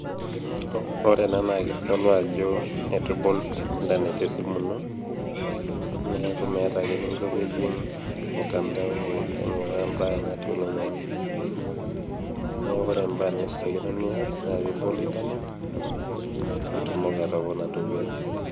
Ore ena naa keitodolu ajo eitu ibol internet esimu ino. Neaku meata eninko pee ijing mutandao ainguraa imbaa natii oloing'ang'e. Neaku Kore imbaa naishaa nias naa pee ibol internet pee itumoki atopona dukuya.